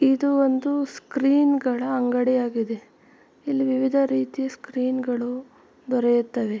ಇದು ಒಂದು ಸ್ಕ್ರೀನ್ ಗಳ ಅಂಗಡಿ ಆಗಿದೆ ಇಲ್ಲಿ ವಿವಿಧ ರೀತಿ ಸ್ಕ್ರೀನ್ ಗಳು ದೊರೆಯುತ್ತವೆ.